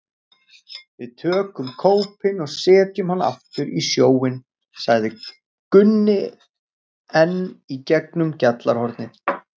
Við tökum kópinn og setjum hann aftur í sjóinn, sagði Gunni enn í gegnum gjallarhornið.